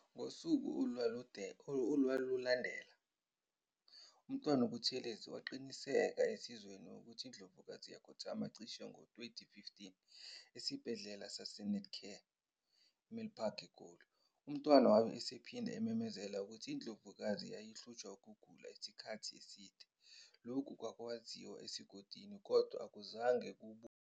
Ngosuku olwalulandela, uMntwana uButhelezi waqinisekisa esizweni ukuthi iNdlovukazi yakhothama cishe ngo-20,15 eSibhedlela saseNetcare Milpark IGoli. UMntwana wabe esephinde ememezela ukuthi iNdlovukazi yayihlushwa ukugula isikhathi eside, lokhu kwakwaziwa esigodlweni kodwa akuzange kwembulwe obala.